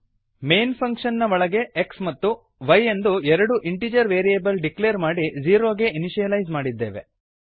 main function ನ ಒಳಗೆ x ಮತ್ತು y ಎಂದು ಎರಡು ಇಂಟಿಜರ್ ವೇರಿಯೇಬಲ್ ಡಿಕ್ಲೇರ್ ಮಾಡಿ ಝೀರೋ ಗೆ ಇನಿಶಿಯಲೈಸ್ ಮಾಡಿದ್ದೇವೆ